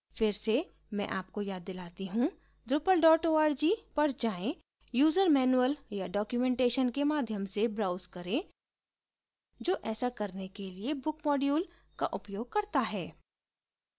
फिर से मैं आपको याद दिलाती हूँ drupal org पर जाएँ user manual या documentation के माध्यम से browse करें जो ऐसा करने के लिए book module का उपयोग करता है